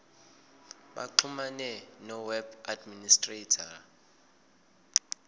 baxhumane noweb administrator